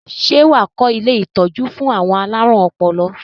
Ṣé wà á kọ́ ilé-ìtọ́jú fún àwọn alárùn ọpọlọ?